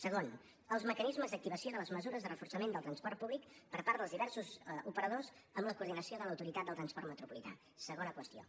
segon els mecanismes d’activació de les mesures de reforçament del transport públic per part dels diversos operadors amb la coordinació de l’autoritat del transport metropolità segona qüestió